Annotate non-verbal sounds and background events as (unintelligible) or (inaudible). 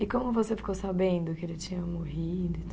E como você ficou sabendo que ele tinha morrido e (unintelligible)